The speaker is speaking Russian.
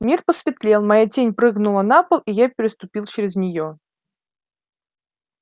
мир посветлел моя тень прыгнула на пол и я переступил через неё